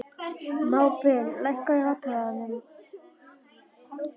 Mábil, lækkaðu í hátalaranum.